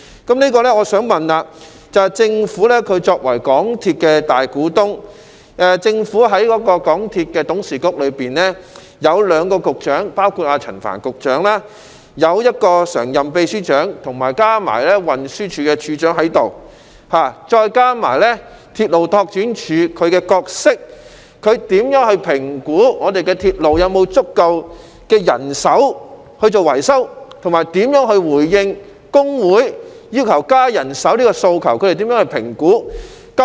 就此，我想問政府作為港鐵公司大股東，在港鐵公司董事局中亦有兩名局長，包括陳帆局長，以及一名常任秘書長及運輸署署長，再加上鐵路拓展處的角色，局方如何評估鐵路是否有足夠人手進行維修，以及如何回應工會要求增加人手的訴求？